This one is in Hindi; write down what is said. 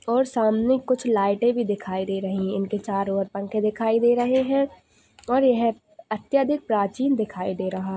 --और सामने कुछ लाइटे भी दिखाई दे रही है उनके चारों और पंख दिखाई दे रहे है और यह अत्यधिक प्राचीन दिखाई दे रहा--